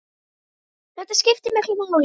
Þetta skiptir miklu máli.